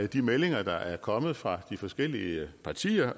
de meldinger der er kommet fra de forskellige partier